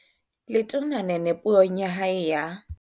Letona Nene Puong ya hae ya.